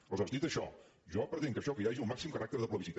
aleshores dit això jo pretenc que això que hi hagi el màxim caràcter de plebiscit